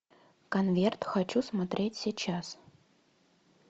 конверт хочу смотреть сейчас